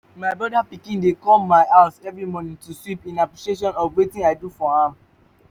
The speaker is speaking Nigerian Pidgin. my brother pikin dey come my house every morning to sweep in appreciation of wetin i do for am